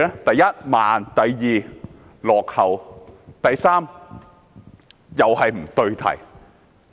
第一，慢；第二，落後；及第三，不對題。